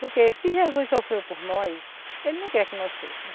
Porque se Jesus sofreu por nós, ele não quer que nós sofram.